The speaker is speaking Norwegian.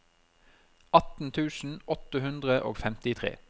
atten tusen åtte hundre og femtitre